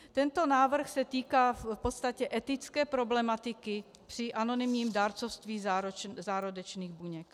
Tento návrh se týká v podstatě etické problematiky při anonymním dárcovství zárodečných buněk.